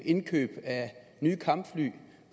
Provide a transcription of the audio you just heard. indkøb af nye kampfly